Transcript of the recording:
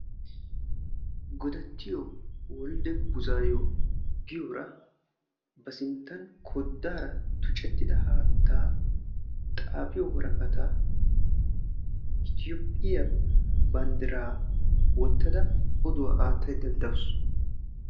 godattiyo woldide buzaayo giyora ba sinttan koddaara tucettida haattaa xaafiyo woraqataa itiyoophiyaa banddiraa wottada oduwaa aattai danddawusu.